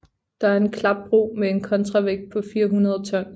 Det er en klapbro med en kontravægt på 400 tons